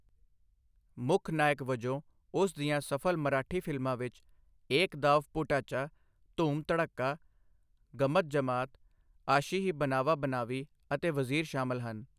ਮੁੱਖ ਨਾਇਕ ਵਜੋਂ ਉਸ ਦੀਆਂ ਸਫਲ ਮਰਾਠੀ ਫਿਲਮਾਂ ਵਿੱਚ 'ਏਕ ਦਾਵ ਭੂਟਾਚਾ', 'ਧੂਮ ਧੜਕਾ', 'ਗੱਮਤ ਜਮਾਤ', 'ਆਸ਼ੀ ਹੀ ਬਨਾਵਾ ਬਨਾਵੀ' ਅਤੇ 'ਵਜ਼ੀਰ' ਸ਼ਾਮਲ ਹਨ।